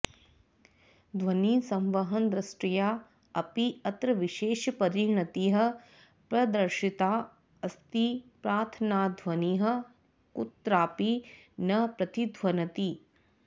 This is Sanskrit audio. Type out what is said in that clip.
ध्वनिसंवहनदृष्ट्या अपि अत्र विशेषपरिणतिः प्रदर्शिता अस्ति प्रार्थनाध्वनिः कुत्रापि न प्रतिध्वनति